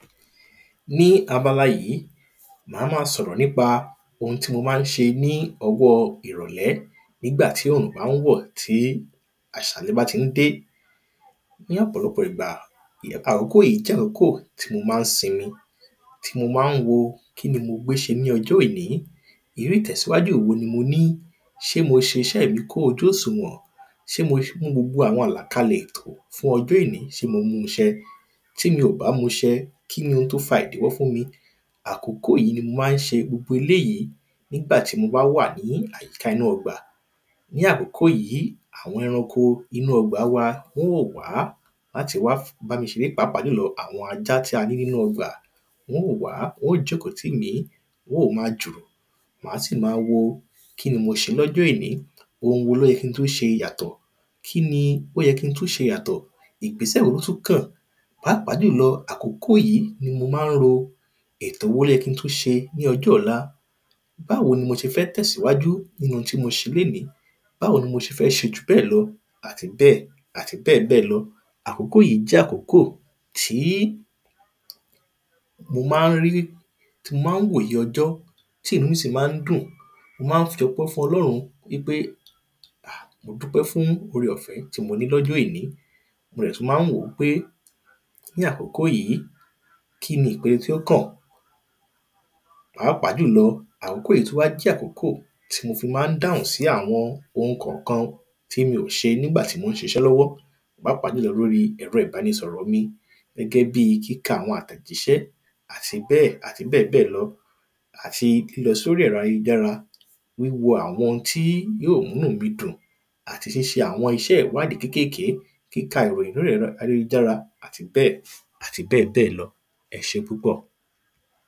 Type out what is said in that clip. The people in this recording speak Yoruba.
ní abala yìí a má sọ̀rọ̀ ní pa ohun tí mo má ń ṣe ní ọwọ́ọ ìrọ̀lẹ́ nígbà tí òrùnbá ń wọ̀ tí àṣálẹ́ bá ti ń dé ní ọ̀pọ̀lọpọ̀ ìgbà ní àkókó yìí tí mo má ń sinmi tí mo ma ń wo kíni mo gbé ṣe ní ọjọ́ èní irú ìtẹ̀síwájú èwo ni mo ní ṣé mo ṣeṣẹ́ mi kún ojú òsùwọ̀n ṣé mo mú gbogbo àwọn àlàkalẹ̀ fún ọjọ́ èní ṣé mo mu ṣẹ tí mi ò bá mu ṣẹ kí ni ohun tí ó fa ìdíwọ́ fún mi àkókó yìí ní mo ma ń ṣe gbogbo eléyìí nígbà tí mo bá wà ní àyíká inú ọgbà ní àkókó yìí àwọn eranko inú ọgbà wa o ń wò wa láti wa bámi ṣeré papa jùlọ àwọn ajá tí a ní nínú ọgbà wọ́ ń wò wa ó jókòó tí mí wóò ma jùrù màá sì ma wo kí ni mo ṣe lọ́jọ èní ohun wo ló yẹ kin tú ṣe yàtọ̀ kí ni ó yẹ kin tú ṣe yàtọ̀ ìgbésẹ̀ wo ló tú kàn pápá jùlọ àkókó yìí ni mo má ń wo ètò wo ló yẹ kin tú ṣe ní ọjọ́ ọ̀la báwo ni mo ṣe fẹ́ tẹ̀síwájú kí ni ohun tí mo ṣe léní báwo ni mo ṣì fẹ́ ṣe jùbẹ́ẹ̀ lọ àti bẹ́ẹ̀ àti bẹ́ẹ̀ bẹ́ẹ̀ lọ àkókó yìí jẹ́ àkókó tí mo má ń rí tí mo ma ń wo òye ọjọ́ tí inú sì má ń dùn mo má ń fi ọpẹ́ fún ọlọ́run ní pé hà mo dúpẹ́ fún ore ọ̀fẹ́ tí mo ní lọ́jọ́ èní mo dẹ̀ tú má ń wòó pé ní àkókó yìí kí ni ìpe tí ó kàn pàápàá jùlọ àkókó yìí tú wá jẹ́ àkókó tí mo fi má ń dáhùn sí àwọn ohun kọ̀kọhun tí mi ò ṣe nígbà tí mò ń ṣiṣẹ́ lọ́wọ́ pápá jùlọ lóri ẹ̀rọ ìbánisọ̀rọ̀ mi gẹ́gẹ́ bí kíka àwọn àtẹ̀jíṣẹ́ àti bẹ́ẹ̀ àti bẹ́ẹ̀ bẹ́ẹ̀ lọ àti lọ sórí ẹ̀rọ ayélujára wíwo àwọn n tí yóò múnú mí dùn àti ṣíṣe àwọn iṣẹ́ ìwádìí kékèké kíka ìròyìn lọ ẹ̀rọ ayélujára àti bẹ́ẹ̀ àti bẹ́ẹ̀ bẹ́ẹ̀ lọ ẹ ṣé púpọ̀